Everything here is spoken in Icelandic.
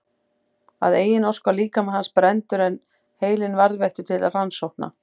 Að eigin ósk var líkami hans brenndur en heilinn varðveittur til rannsókna.